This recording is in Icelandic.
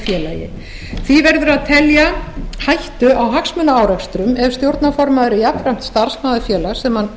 félagi því verður að telja hættu á hagsmunaárekstrum ef stjórnarformaður er jafnframt starfsmaður félagsins þar sem hann